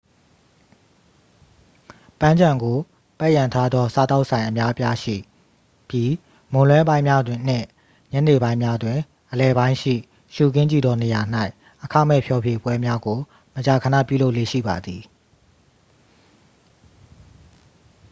ပန်းခြံကိုပတ်ရံထားသောစားသောက်ဆိုင်အများအပြားရှိပြီး မွန်းလွဲပိုင်းများနှင့် ညနေပိုင်းများတွင် အလယ်ပိုင်းရှိ ရှုခင်းကြည့်သောနေရာ၌ အခမဲ့ဖျော်ဖြေပွဲများကို မကြာခဏပြုလုပ်လေ့ရှိပါသည်